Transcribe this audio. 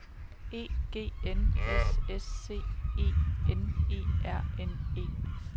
E G N S S C E N E R N E